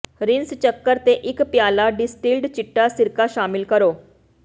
rinse ਚੱਕਰ ਤੇ ਇੱਕ ਪਿਆਲਾ ਡਿਸਟਿੱਲਡ ਚਿੱਟਾ ਸਿਰਕਾ ਸ਼ਾਮਲ ਕਰੋ